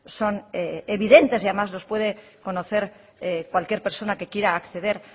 son evidentes y además los puede conocer cualquier persona que quiera a acceder